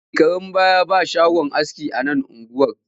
Shekarun baya babu shagon aski a nan unguwar